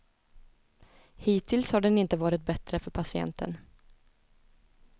Hittills har den inte varit bättre för patienten.